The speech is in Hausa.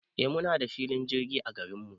Eh muna da filin jirgi a garinmu